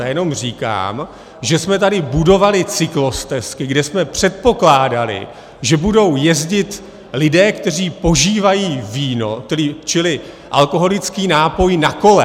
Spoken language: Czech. Já jenom říkám, že jsme tady budovali cyklostezky, kde jsme předpokládali, že budou jezdit lidé, kteří požívají víno, čili alkoholický nápoj, na kole.